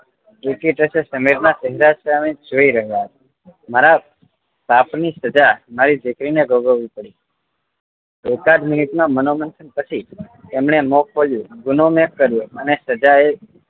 એકી ટસે સમીર નાં ચેહરા સામે જોઈ રહ્યા હતા મારા પાપ ની સજા મારી દીકરી ને ભોગવવી પડી એકાદ મિનિટ નાં મનોમંથન પછી તેમને મોં ખોલ્યું ગુનો મેં કર્યો અને સજા એ